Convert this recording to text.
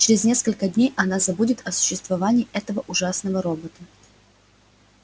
через несколько дней она забудет о существовании этого ужасного робота